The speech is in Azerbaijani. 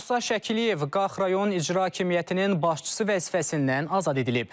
Musa Şəkiliyev Qax rayon İcra hakimiyyətinin başçısı vəzifəsindən azad edilib.